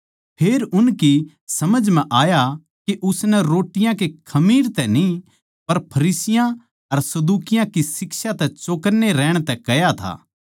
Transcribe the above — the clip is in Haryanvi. फेर उनकी समझ आया के उसनै रोट्टी कै खमीर तै न्ही पर फरिसियाँ अर सदूकियाँ की शिक्षा तै चौकन्ने रहण नै कह्या था